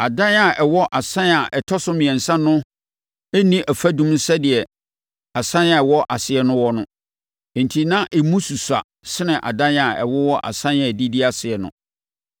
Adan a ɛwɔ asan a ɛtɔ so mmiɛnsa no nni afadum sɛdeɛ nsan a ɛwɔ aseɛ no wɔ no; enti na emu susua sene adan a ɛwowɔ nsan a ɛdidi aseɛ no.